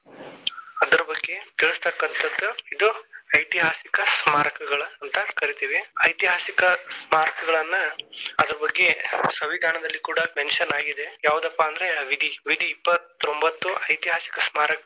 ಅದರ ಬಗ್ಗೆ ತಿಳಿಸ್ತಕಂತದ್ದು ಇದು ಐತಿಹಾಸಿಕ ಸ್ಮಾರಕಗಳ ಅಂತಾ ಕರೀತೀವಿ. ಐತಿಹಾಸಿಕ ಸ್ಮಾರಕಗಳನ್ನ ಅದ್ರ ಬಗ್ಗೆ ಸಂವಿದಾನದಲ್ಲಿ ಕೂಡ mention ಆಗಿದೆ ಯಾವದಪ್ಪಾ ಅಂದ್ರ ವಿಧಿ ವಿಧಿ ಇಪ್ಪತ್ತೊಂಬತ್ತು ಐತಿಹಾಸಿಕ.